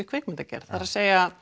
kvikmyndagerð það er